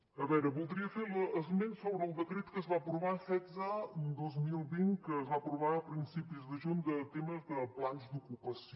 a veure voldria fer esment sobre el decret setze dos mil vint que es va aprovar a principis de juny de temes de plans d’ocupació